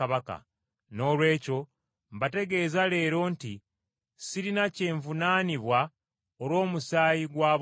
Noolwekyo mbategeeza leero nti sirina kyenvunaanwa olw’omusaayi gwa bonna,